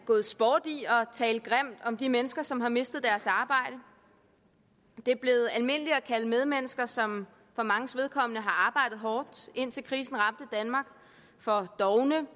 gået sport i at tale grimt om de mennesker som har mistet deres arbejde det er blevet almindeligt at kalde de medmennesker som for manges vedkommende har arbejdet hårdt indtil krisen ramte danmark for dovne